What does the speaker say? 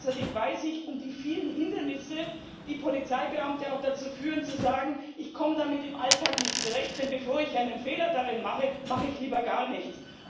Gleichzeitig weiß ich um die vielen Hindernisse, die Polizeibeamte auch dazu führen zu sagen Ich komme damit im Alltag nicht zurecht, denn bevor ich einen Fehler darin mache, mache ich lieber gar nichts.